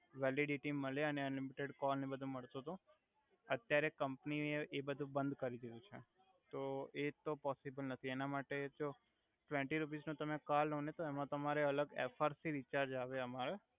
validity મળે અને unlimited call ને એવુ બધુ મળતું તુ અત્યારે કમ્પની એ એ બધુ બંધ કરી દિધુ છે તો એ તો પોસીબલ નથી ટવેન્ટી રુપિસ નુ તમે કરઈ લો ને તો એમ તમારે અલ્ગ એફઆર પી રિચાર્જ આવે અમારે